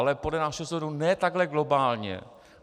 Ale podle našeho soudu ne takhle globálně.